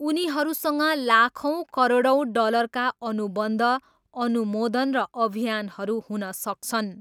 उनीहरूसँग लाखौँ करोडौँ डलरका अनुबन्ध, अनुमोदन र अभियानहरू हुन सक्छन्।